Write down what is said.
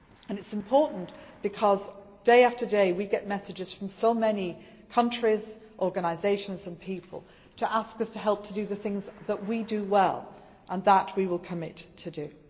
It is important because day after day we get messages from so many countries, organisations and people to ask us to help to do the things that we do well and that we will commit to do.